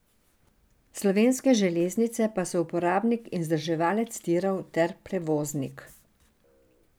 Slovenske železnice pa so uporabnik in vzdrževalec tirov ter prevoznik.